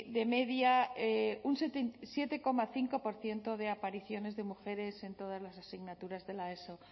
de media un siete coma cinco por ciento de apariciones de mujeres en todas las asignaturas de la eso